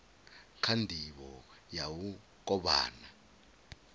kha ndivho ya u kovhana